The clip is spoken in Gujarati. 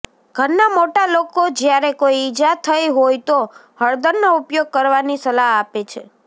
ઘરના મોટા લોકો જ્યારે કોઇ ઇજા થઇ હોય તો હળદરનો ઉપયોગ કરવાની સલાહ આપે છે